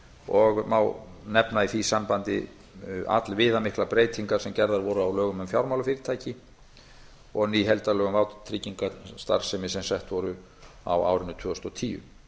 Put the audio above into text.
og má nefna í því sambandi allviðamiklar breytingar sem gerðar voru á lögum um fjármálafyrirtæki og ný lög um vátryggingarstarfsemi sem sett voru á árinu tvö þúsund og tíu